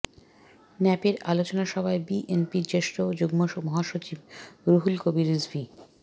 ন্যাপের আলোচনা সভায় বিএনপির জ্যেষ্ঠ যুগ্ম মহাসচিব রুহুল কবির রিজভী